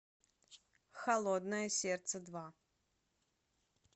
холодное сердце два